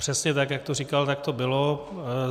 Přesně tak, jak to říkal, tak to bylo.